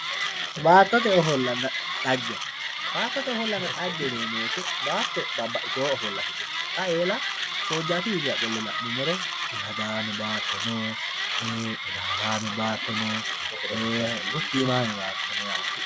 Baattote ofollanna dhagge ,baattote ofollanna dhagge yineemmo woyte baatto babbaxxitino ofolla afidhino xa eella soojjaato qolle la'nuummoro ilalame baatto no, gottimame baatto no yaate.